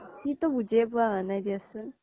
সিটো বুজিয়ে পোৱা নাই দে চোন